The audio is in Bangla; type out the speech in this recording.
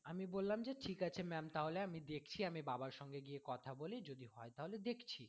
আমি বললাম যে ঠিক আছে ma'am তাহলে আমি দেখছি আমি বাবার সঙ্গে গিয়ে কথা বলি যদি হয় তাহলে দেখছি